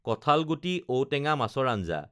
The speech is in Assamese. কঠালগুটি, ঔটেঙা, মাছৰ আঞ্জা